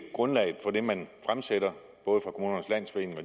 grundlaget for det man fremsætter både fra kommunernes landsforenings